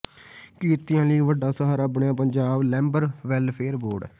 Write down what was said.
ਕਿਰਤੀਆਂ ਲਈ ਵੱਡਾ ਸਹਾਰਾ ਬਣਿਆ ਪੰਜਾਬ ਲੇਬਰ ਵੈੱਲਫੇਅਰ ਬੋਰਡ